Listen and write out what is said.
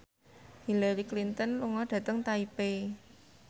Hillary Clinton lunga dhateng Taipei